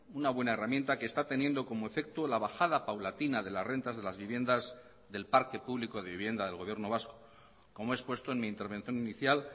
una buena herramienta que está teniendo como efecto la bajada paulatina de las rentas de las viviendas del parque público de vivienda del gobierno vasco como he expuesto en mi intervención inicial